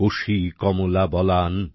Kosi Kamala Balan